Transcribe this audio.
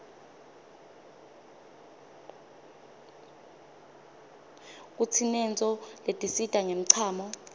kutsinetnso letisita nqemchamo